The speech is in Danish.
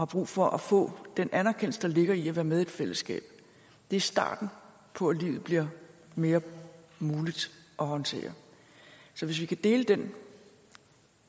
brug for at få den anerkendelse der ligger i at være med i et fællesskab det er starten på at livet bliver mere muligt at håndtere så hvis vi kan dele den